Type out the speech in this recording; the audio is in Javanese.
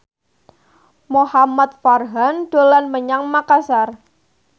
Muhamad Farhan dolan menyang Makasar